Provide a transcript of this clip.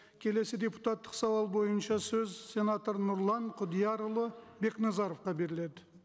келесі депутаттық сауал бойынша сөз сенатор нұрлан құдиярұлы бекназаровқа беріледі